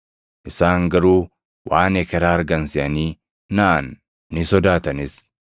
Isaan garuu waan ekeraa argan seʼanii naʼan; ni sodaatanis.